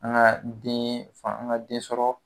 An ka den an ka den sɔrɔ